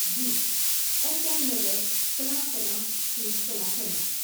G H I Nagar, فلاں فلاں street, فلاں فلاں۔